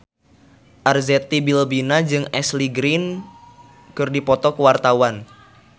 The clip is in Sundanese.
Arzetti Bilbina jeung Ashley Greene keur dipoto ku wartawan